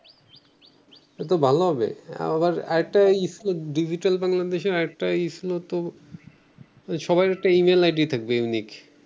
এটাতো ভালো হবে। আবার আর একটা ডিজিটাল বাংলাদেশের আর একটা ই ছিলোতো সবার একটা email ID থাকবে unique